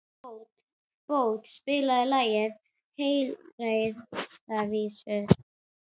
Bót, spilaðu lagið „Heilræðavísur“.